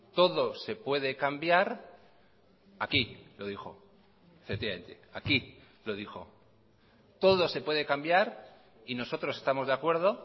todo se puede cambiar aquí lo dijo aquí lo dijo todo se puede cambiar y nosotros estamos de acuerdo